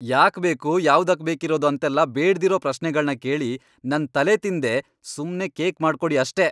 ಯಾಕ್ ಬೇಕು, ಯಾವ್ದಕ್ ಬೇಕಿರೋದು ಅಂತೆಲ್ಲ ಬೇಡ್ದಿರೋ ಪ್ರಶ್ನೆಗಳ್ನ ಕೇಳಿ ನನ್ ತಲೆತಿನ್ದೇ ಸುಮ್ನೆ ಕೇಕ್ ಮಾಡ್ಕೊಡಿ ಅಷ್ಟೇ!